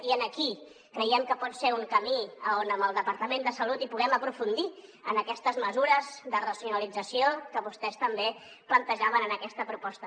i aquí creiem que pot ser un camí on amb el departament de salut puguem aprofundir en aquestes mesures de racionalització que vostès també plantejaven en aquesta proposta